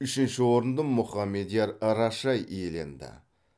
үшінші орынды мұхамедияр рашай иеленді